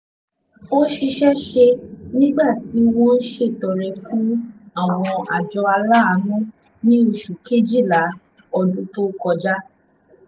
òṣìṣẹ́ ṣe nígbà tí wọ́n ń ṣètọrẹ fún àwọn àjọ aláàánú ní oṣù kejìlá ọdún tó kọjá